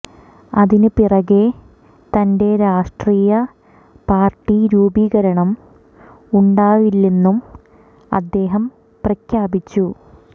അതിന് പിറകെ തന്റെ രാഷ്ട്രീയ പാർട്ടി രൂപീകരണം ഉണ്ടാവില്ലെന്നും അദ്ദേഹം പ്രഖ്യാപിച്ചു